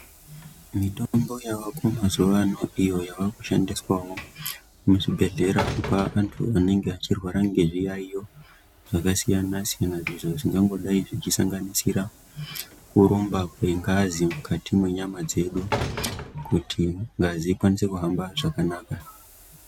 Mitombo yavako mazuwa ano iyo yavakushandiswawo muzvibhehlera kupa antu anenge achirwara ngezviyaiyo zvakasiyana siyana izvo zvingongodai zvechisanganisira kurumba kwengazi mukati mwenyama dzedu kuti ngazi ikwanise kuhamba zvakanaka